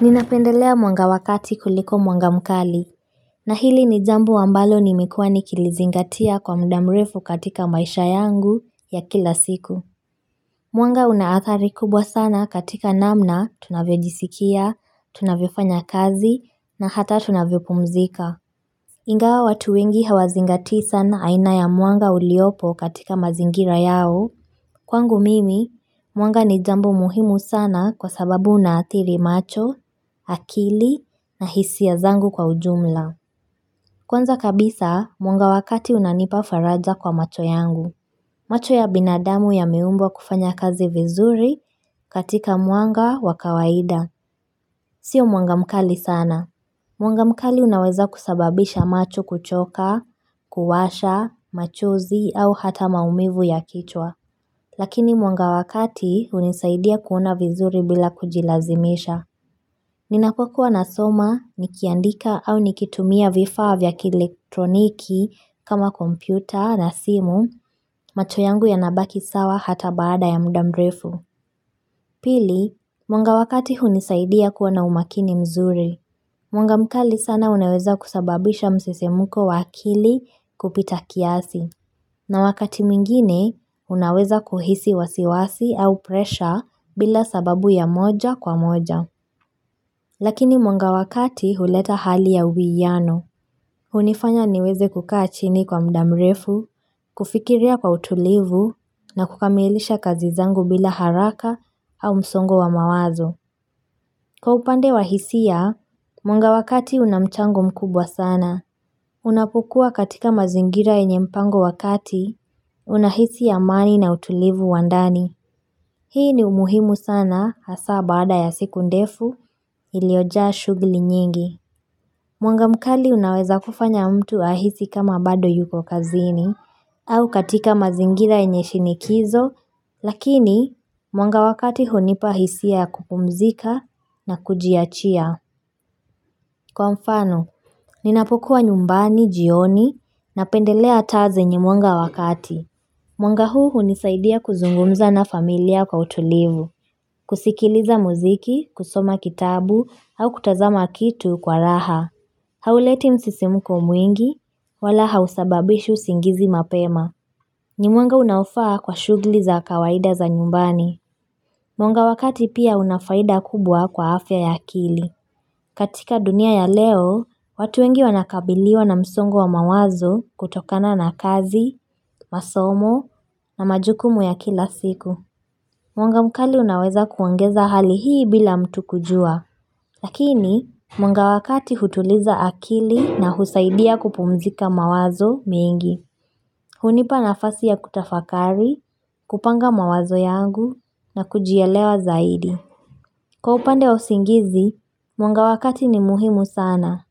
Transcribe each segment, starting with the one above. Ninapendelea mwanga wakati kuliko mwanga mkali, na hili ni jambo ambalo nimekuwa nikilizingatia kwa muda mrefu katika maisha yangu ya kila siku. Mwanga una hatari kubwa sana katika namna tunavyo jisikia, tunavyo fanya kazi, na hata tunavyo pumzika. Ingawa watu wengi hawazingatii sana aina ya mwanga uliopo katika mazingira yao. Kwangu mimi, mwanga ni jambo muhimu sana kwa sababu unaatiri macho, akili na hisia zangu kwa ujumla. Kwanza kabisa, mwanga wakati unanipa faraja kwa macho yangu. Macho ya binadamu yameumbwa kufanya kazi vizuri katika mwanga wa kawaida. Sio muanga mkali sana. Mwanga mkali unaweza kusababisha macho kuchoka, kuwasha, machozi au hata maumivu ya kichwa. Lakini mwanga wakati unisaidia kuona vizuri bila kujilazimisha. Ninapo kuwa na soma, nikiandika au nikitumia vifaa vya kielektroniki kama kompyuta na simu, macho yangu yanabaki sawa ata baada ya muda mrefu. Pili, mwanga wakati unisaidia kuona umakini mzuri. Mwanga mkali sana unaweza kusababisha msisimuko wa akili kupita kiasi. Na wakati mwingine, unaweza kuhisi wasiwasi au presha bila sababu ya moja kwa moja. Lakini mwanga wa kati uleta hali ya uviyano. Unifanya niweze kukaa chini kwa muda mrefu, kufikiria kwa utulivu, na kukamilisha kazi zangu bila haraka au msongo wa mawazo. Kwa upande wa hisia, mwanga wakati unamchango mkubwa sana. Unapukua katika mazingira yenye mpango wakati, unahisi amani na utulivu wa ndani. Hii ni umuhimu sana hasa badaa ya siku ndefu iliojaa shughuli nyingi. Mwanga mkali unaweza kufanya mtu ahisi kama bado yuko kazini, au katika mazingira yenye shinikizo, lakini mwanga wakati hunipa hisia kupumzika na kujiachia. Kwa mfano, ninapokuwa nyumbani, jioni, na pendelea taa zenye mwanga wakati. Mwanga huu unisaidia kuzungumza na familia kwa utulivu, kusikiliza muziki, kusoma kitabu, au kutazama kitu kwa raha. Hauleti msisimuko mwingi, wala hausababishi usingizi mapema. Ni mwanga unaofaa kwa shughuli za kawaida za nyumbani. Mwanga wakati pia unafaida kubwa kwa afya ya akili. Katika dunia ya leo, watu wengi wanakabiliwa na msongo wa mawazo kutokana na kazi, masomo na majukumu ya kila siku. Mwanga mkali unaweza kuongeza hali hii bila mtu kujua. Lakini, mwanga wakati hutuliza akili na husaidia kupumzika mawazo mengi. Hunipa nafasi ya kutafakari, kupanga mawazo yangu na kujielewa zaidi. Kwa upande wa usingizi, mwanga wakati ni muhimu sana.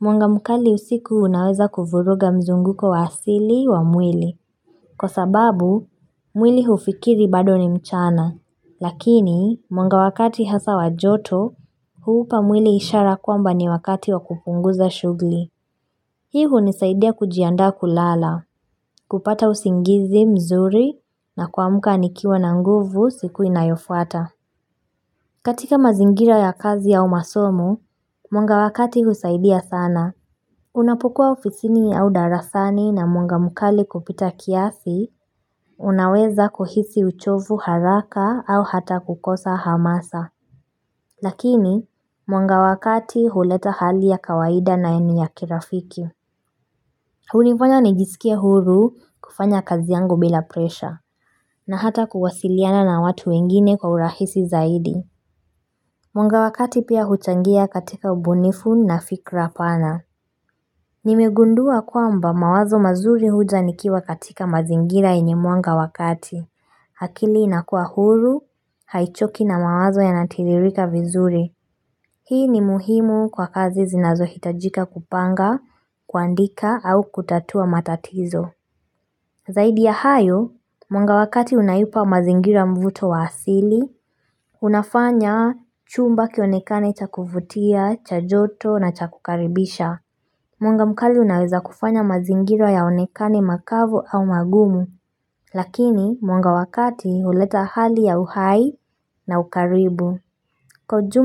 Mwanga mkali usiku unaweza kufuruga mzunguko wa asili wa mwili. Kwa sababu, mwili hufikiri bado ni mchana. Lakini, mwanga wakati hasa wajoto, huupa mwili ishara kwamba ni wakati wa kupunguza shughuli. Hii unisaidia kujiandaa kulala, kupata usingizi mzuri na kuamka ni kiwa na nguvu siku inayofuata. Katika mazingira ya kazi ya umasomo, mwanga wakati husaidia sana. Unapukua ofisini au darasani na mwanga mukali kupita kiasi, unaweza kuhisi uchovu haraka au hata kukosa hamasa. Lakini, mwanga wa kati huleta hali ya kawaida na eni ya kirafiki. Hunifanya nijisikie huru kufanya kazi yangu bila presha, na hata kuwasiliana na watu wengine kwa urahisi zaidi. Mwanga wakati pia huchangia katika ubunifu na fikra pana. Nimigundua kwamba mawazo mazuri huja nikiwa katika mazingira yenye mwanga wakati. Akili inakua huru, haichoki na mawazo ya natiririka vizuri. Hii ni muhimu kwa kazi zinazo hitajika kupanga, kuandika au kutatua matatizo. Zaidi ya hayo, mwanga wakati unayupa mazingira mvuto wa asili Unafanya chumba kionekane cha kufutia, cha joto na cha kukaribisha Mwanga mkali unaweza kufanya mazingira yaonekane makavu au magumu Lakini mwanga wakati uleta hali ya uhai na ukaribu Kwa ujumla.